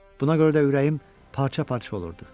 Buna görə də ürəyim parça-parça olurdu.